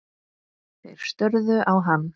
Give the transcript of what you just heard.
Þeir störðu á hann.